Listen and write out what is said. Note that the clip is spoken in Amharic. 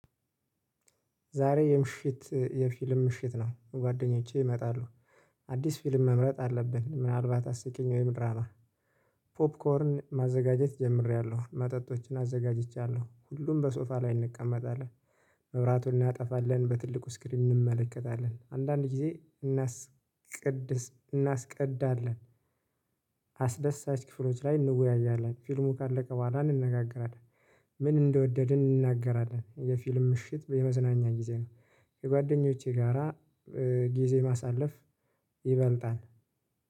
ዛሬ የምሽት የፊልም ምሽት ነው ጓደኞቼ ይመጣሉ። አዲስ ፊልም መምረጥ አለብን ምናልባት አስቂኝ ወይ ምንድነው? ፖፕኮርን ማዘጋጀት ጀምሬያለሁ መጠጦችን አዘጋጅቻለሁ ሁሉም በሶፋ ላይ እንቀመጣለን። መብራቱን እናጠፋለን በትልቁ ስክሪን እንመለከታለን አንዳንድ ጊዜ። እናስቀድዳለን። አስደሳች ክፍሎች ላይ እንወያያለን ፊልሙ ካለቀ በኋላ እንነጋገራለን። ምን እንደወደድን እንናገራለን የፊልም ምሽት የመዝናኛ ጊዜ ነው። የጓደኞቼ ጋራ። ጊዜ ማሳለፍ ይበልጣል